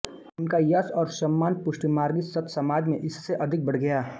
उनका यश और सम्मान पुष्टिमार्गी संतसमाज में इससे अधिक बढ़ गया